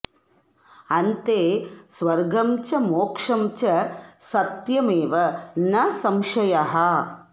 अन्ते स्वर्गं च मोक्षं च सत्यमेव न संशयः